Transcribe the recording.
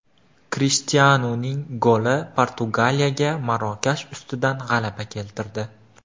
Krishtianuning goli Portugaliyaga Marokash ustidan g‘alaba keltirdi .